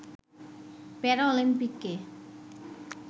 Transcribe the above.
প্যারা অলিম্পিকে